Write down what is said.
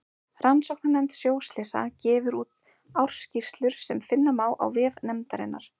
Rannsóknarnefnd sjóslysa gefur úr ársskýrslur sem finna má á vef nefndarinnar.